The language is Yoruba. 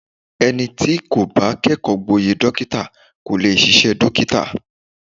Ẹni tí kò bá kẹ́kọ̀ọ́ gboyè dókítà kò lè ṣiṣẹ́ dókítà.